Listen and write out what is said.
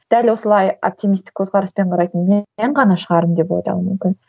дәл осылай оптимистік көзқараспен қарайтын мен ғана шығармын деп ойлау мүмкін